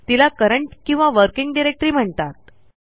तिला करंट किंवा working directory म्हणतात